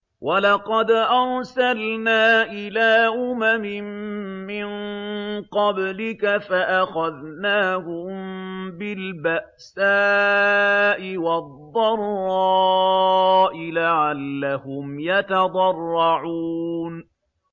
وَلَقَدْ أَرْسَلْنَا إِلَىٰ أُمَمٍ مِّن قَبْلِكَ فَأَخَذْنَاهُم بِالْبَأْسَاءِ وَالضَّرَّاءِ لَعَلَّهُمْ يَتَضَرَّعُونَ